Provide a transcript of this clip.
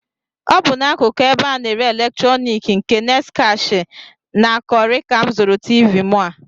Ọ bụ n'akụkụ ebe a na-ere eletroniki nke Next Cash and Carry ka m zụrụ Tiivii mụ a